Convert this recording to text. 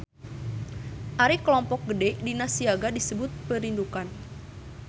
Ari kelompok gede dina siaga disebut Perindukan.